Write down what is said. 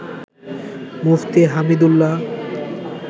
Mufti Hamidullah